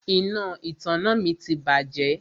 Iná ìtanná mi ti bàjẹ́.